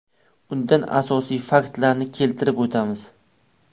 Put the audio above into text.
Undan asosiy faktlarni keltirib o‘tamiz.